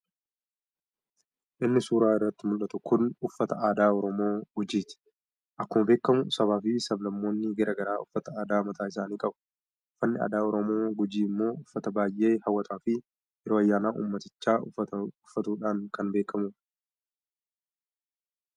Inni suuraa irratti muldhatu kun uffata aadaa oromoo gujiiti. Akkuma beekkamu sabaa fi sab-lammoonni garaa garaa uffata aadaa mataa isaanii qabu. uffanni aadaa oromoo gujii immoo uffata baayee hawataa fi yeroo ayyaana ummatichi uffatuudhaan kan beekkamuudha.